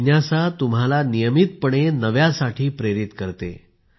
जिज्ञासा तुम्हाला नियमितपणे नव्यासाठी प्रेरित करते